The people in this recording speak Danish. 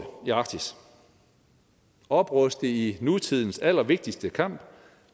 i arktis opruste i nutidens allervigtigste kamp